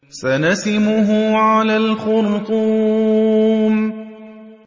سَنَسِمُهُ عَلَى الْخُرْطُومِ